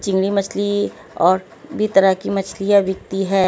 चंगड़ी मछली और भी तरह की मछलियां बिकती हैं।